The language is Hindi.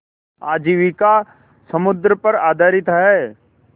आजीविका समुद्र पर आधारित है